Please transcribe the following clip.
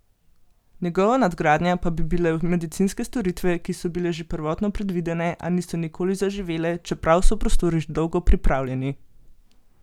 Njegova nadgradnja pa bi bile medicinske storitve, ki so bile že prvotno predvidene, a niso nikoli zaživele, čeprav so prostori že dolgo pripravljeni.